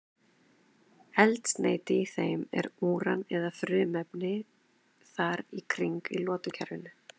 Eldsneyti í þeim er úran eða frumefni þar í kring í lotukerfinu.